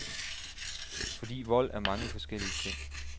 Fordi vold er mange forskellige ting.